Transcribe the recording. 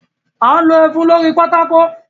A n lo ẹfun lórí pátákò.